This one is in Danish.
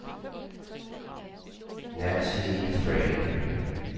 Nancy Thrane